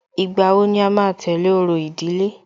Ìgbà wo ni à máa tẹ̀lé orò ìdílé?